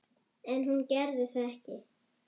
En hún gerði það ekki.